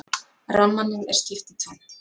Rammanum er skipt í tvennt.